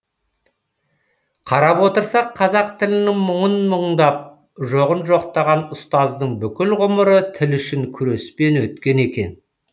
қарап отырсақ қазақ тілінің мұңын мұңдап жоғын жоқтаған ұстаздың бүкіл ғұмыры тіл үшін күреспен өткен екен